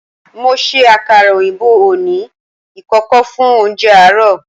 Mo se àkàrà òyìnbó oní ìkòkò fún oúnje àárò